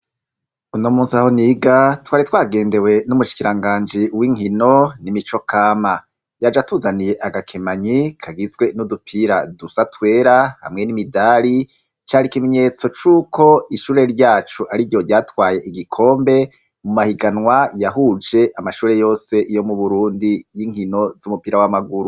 Uno munsi aho niga twari twagendewe n'umushikiranganji w'inkino n'imico kama yaje atuzaniye agakemanyi kagizwe n'udupira dusa twera hamwe n'imidari, cari ikimenyetso c'uko ishure ryacu ari ryo ryatwaye igikombe mu mahiganwa yahuje amashure yose yo mu Burundi y'inkino z'umupira w'amaguru.